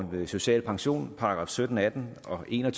social pension § sytten atten og en og